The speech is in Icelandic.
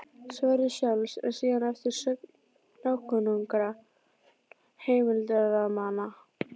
Sverris sjálfs, en síðan eftir sögn nákunnugra heimildarmanna.